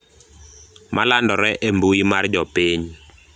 malandore e mbui mar jopiny